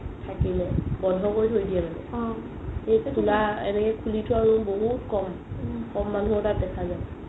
থাকিলে বন্ধো কৰি থই দিয়ে মানে খুলা এনেকে খুলি থুৱা room বহুত ক'ম ক'ম মানুহৰ তাত দেখা যাই